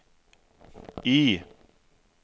I